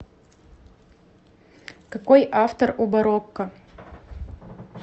какой автор у барокко